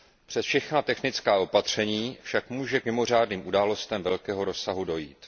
Přes všechna technická opatření však může k mimořádným událostem velkého rozsahu dojít.